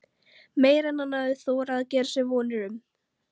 Meira en hann hafði þorað að gera sér vonir um.